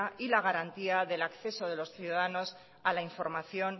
y la garantía del acceso de los ciudadanos a la información